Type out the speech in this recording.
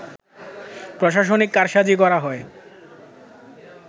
প্রশাসনিক কারসাজি করা হয়